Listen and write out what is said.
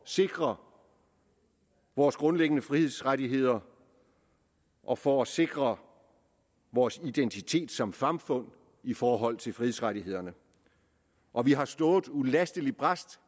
sikre vores grundlæggende frihedsrettigheder og for at sikre vores identitet som samfund i forhold til frihedsrettighederne og vi har stået ulasteligt brast